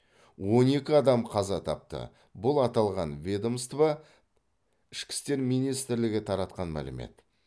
он екі адам қаза тапты бұл аталған ведомство ішкі істер министрлігі таратқан мәлімет